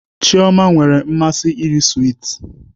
Chioma nwere mmasị iri swiiti